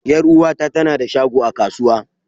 Yar'uwata ta na da shago a kasuwa.